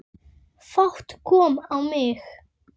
Fát kom á mig.